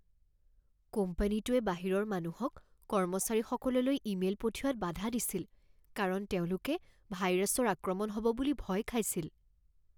কোম্পানীটোৱে বাহিৰৰ মানুহক কৰ্মচাৰীসকললৈ ইমেইল পঠিওৱাত বাধা দিছিল কাৰণ তেওঁলোকে ভাইৰাছৰ আক্ৰমণ হ'ব বুলি ভয় খাইছিল।